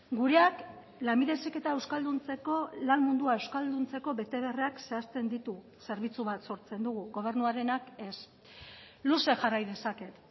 gureak lanbide heziketa euskalduntzeko lan mundua euskalduntzeko betebeharrak zehazten ditu zerbitzu bat sortzen dugu gobernuarenak ez luze jarrai dezaket